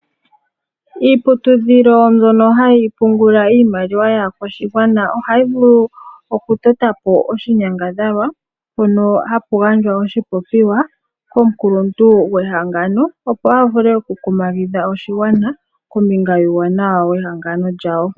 Omahangano ngono haga pungula iimaliwa yaakwashigwana ohaga vulu okutota po oshinyangadhalwa mpono hapu gandjwa oshipopiwa komukuluntu gwehangano, opo a vule okukumagidha oshigwana kombinga yuuwanawa wehangano lyawo.